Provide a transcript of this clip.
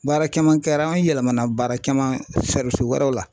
Baara kɛman kɛra an yɛlɛmana baara kɛman wɛrɛw la